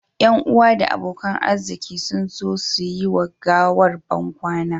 Yan uwa da abokan arziki sun zo su yi wa gawar bankwana